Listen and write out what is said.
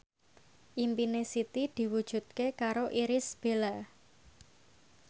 impine Siti diwujudke karo Irish Bella